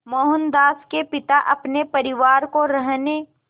मोहनदास के पिता अपने परिवार को रहने